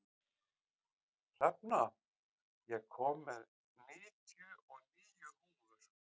Hrefna, ég kom með níutíu og níu húfur!